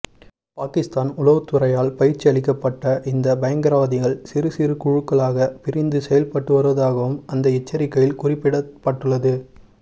பாகிஸ்தான் உளவுத்துறையால் பயிற்சி அளிக்கப்பட்ட இந்த பயங்கரவாதிகள் சிறு சிறு குழுக்களாக பிரிந்து செயல்பட்டு வருவதாகவும் அந்த எச்சரிக்கையில் குறிப்பிடப்பட்டுள்ளது